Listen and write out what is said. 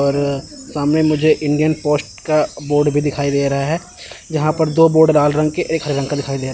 और सामने मुझे इंडियन पोस्ट का बोर्ड भी दिखाई दे रहा है जहां पर दो बोर्ड लाल रंग के एक हर रंग दिखाई दे--